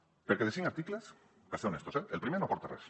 perquè de cinc articles per ser honestos eh el primer no aporta res